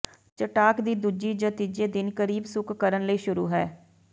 ਚਟਾਕ ਦੀ ਦੂਜੀ ਜ ਤੀਜੇ ਦਿਨ ਕਰੀਬ ਸੁੱਕ ਕਰਨ ਲਈ ਸ਼ੁਰੂ ਕਰ